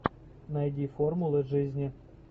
найди формулы жизни